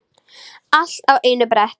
Allir á einu bretti.